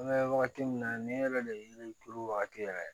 An bɛ wagati min na nin yɛrɛ de ye yiri turu wagati yɛrɛ ye